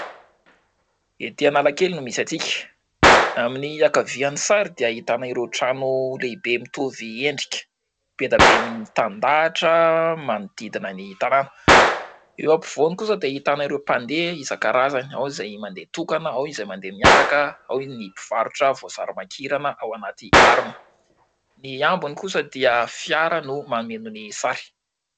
Ety Analakely no misy antsika amin'ny ankavian'ny sary dia ahitana ireo trano lehibe mitovy endrika, be dia be mitandahatra manodidina ny tanàna, eo ampovoany kosa dia ahitana ireo mpandeha isankarazany, ao izay mandeha tokana, ao izay mandeha miaraka, ao ny mpivarotra voasary makirana ao anaty harona, ny ambiny kosa dia fiara no mameno ny sary.